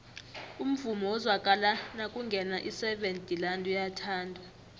umvumo ozwakala nakungena iseven delaan uyathandwa